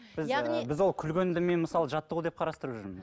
яғни біз ол күлгенді мен мысалы жаттығу деп қарастырып жүрмін